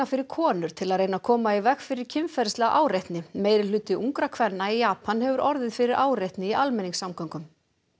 fyrir konur til að reyna að koma í veg fyrir kynferðislega áreitni meirihluti ungra kvenna í Japan hefur orðið fyrir áreitni í almenningssamgöngum